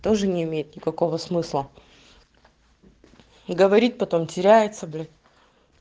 тоже не имеет никакого смысла говорит потом теряется блин